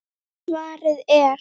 Svarið er